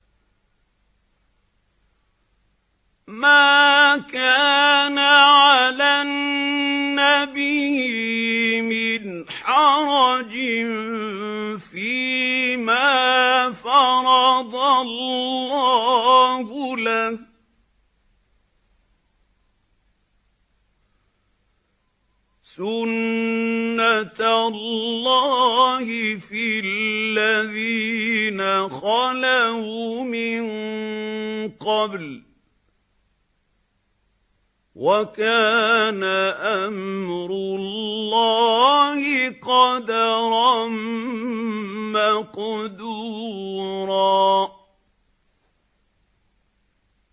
مَّا كَانَ عَلَى النَّبِيِّ مِنْ حَرَجٍ فِيمَا فَرَضَ اللَّهُ لَهُ ۖ سُنَّةَ اللَّهِ فِي الَّذِينَ خَلَوْا مِن قَبْلُ ۚ وَكَانَ أَمْرُ اللَّهِ قَدَرًا مَّقْدُورًا